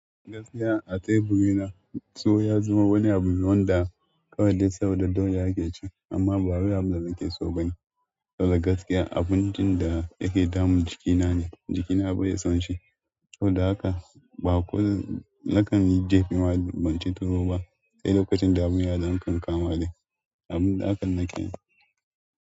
Gaskiya a teburi na, so ya zama wani abu wanda kawai dai saboda doya ake ci, amma ba wai abin da nake so bane. Saboda gaskiya, abincin da yake damun jikina ne, jikina bai son shi. Ko da haka, ba kurin nakan yi jefi ma ban ci tuwo ba, sai lokacin damuwa da yakan kama dai. Abun da haka nake yi.